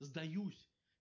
сдаюсь